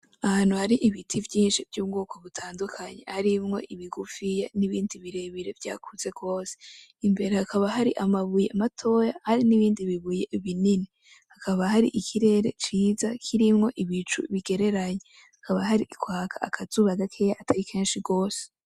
Ahantu hari ibiti vyinshi vy'ubwoko butandukanye, harimwo ibigufiya n'ibindi birebire vyakuze gose, imbere hakaba hari amabuye matoya hari n'ibindi bibuye binini, hakaba hari ikirere ciza kirimwo ibicu bigereranye, hakaba hari kwaka akazuba gakeya atari kenshi gose.